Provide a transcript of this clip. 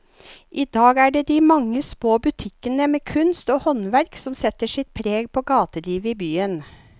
I dag er det de mange små butikkene med kunst og håndverk som setter sitt preg på gatelivet i byen.